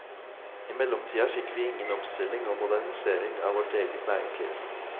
I mellomtida fikk vi ingen omstilling og modernisering av vårt eget næringsliv.